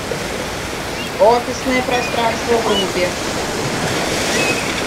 офисное пространство вруби